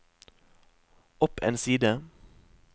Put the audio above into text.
opp en side